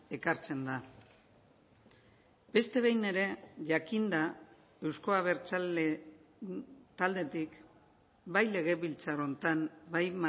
ekartzen da beste behin ere jakinda euzko abertzale taldetik bai legebiltzar honetan bai